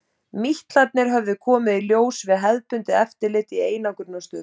Mítlarnir höfðu komið í ljós við hefðbundið eftirlit í einangrunarstöð.